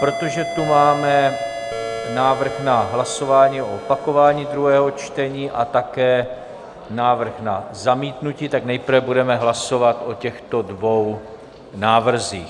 Protože tu máme návrh na hlasování o opakování druhého čtení a také návrh na zamítnutí, tak nejprve budeme hlasovat o těchto dvou návrzích.